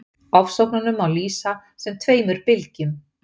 ofsóknunum má lýsa sem tveimur bylgjum